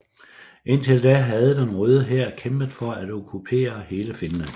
Indtil da havde den Røde Hær kæmpet for at okkupere hele Finland